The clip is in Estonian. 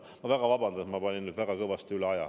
Ma palun väga vabandust, et ma läksin nüüd väga kõvasti üle aja.